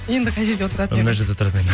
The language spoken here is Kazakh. енді қай жерде отыратын мына жерде отыратын едім